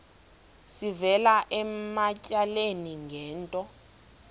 sivela ematyaleni ngento